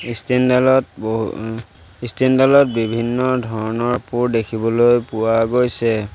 Stand ডালত ব এ ষ্টেণ্ড ডালত বিভিন্ন ধৰণৰ দেখিবলৈ পোৱা গৈছে।